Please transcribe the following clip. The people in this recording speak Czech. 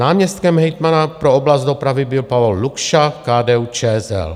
Náměstkem hejtmana pro oblast dopravy byl Pavol Lukša, KDU-ČSL.